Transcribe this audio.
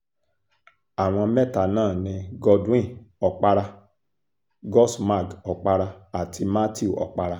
àwọn mẹ́ta náà ni godwin okpara godsmag okpara àti matthew okpara